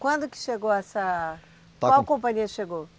Quando que chegou essa. Qual companhia chegou?